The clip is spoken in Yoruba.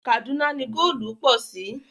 Kàdúná ni góòlù pọ̀ sí